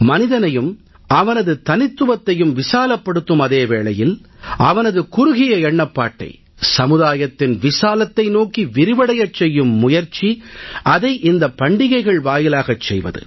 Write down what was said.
மனிதனையும் அவனது தனித்துவத்தையும் விசாலப்படுத்தும் அதே வேளையில் அவனது குறுகிய எண்ணப்பாட்டை சமுதாயத்தின் விசாலத்தை நோக்கி விரிவடையச் செய்யும் முயற்சி அதை இந்தப் பண்டிகைகள் வாயிலாகச் செய்வது